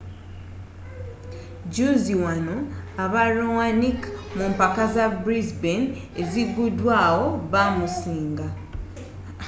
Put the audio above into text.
juuzi wano aba raonic mu mpaka za brisbane eziguddwawo baamusiinga